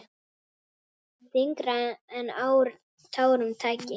Þyngra en tárum taki!